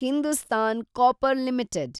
Hindustan Copper limited